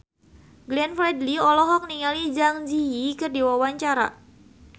Glenn Fredly olohok ningali Zang Zi Yi keur diwawancara